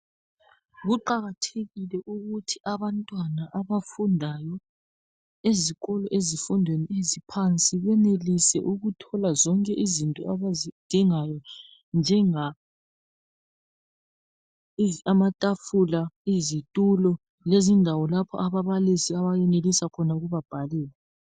Kuqakathekile ukuthi abantwana abafundayo ezikolo ezifundweni eziphansi benelise ukuthola zonke izinto abazidingayo njengamatafula, izitulo lezindawo lapho ababalisi abenelisa khona ukuba bhalela.